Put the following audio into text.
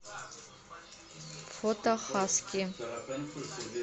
фото хаски